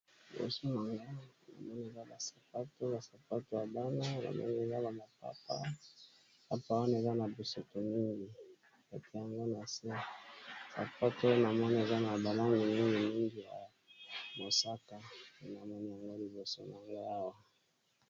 Liboso na nga namoni eza na sapato na sapato ya bana namoni eza na maaaapaane eza na biseto mingi ete yango na si sapato namoni eza na balangi neni mingi ya mosaka enamoni yango liboso na nga awa.